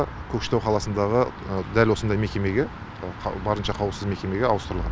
көкшетау қаласындағы дәл осындай мекемеге барынша қауіпсіз мекемеге ауыстырылған